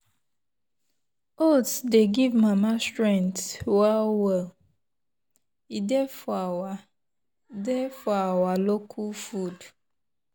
oats dey give mama strength well well e dey for our dey for our local food.